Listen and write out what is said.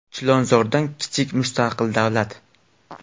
Chilonzordan kichik mustaqil davlat.